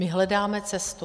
My hledáme cestu.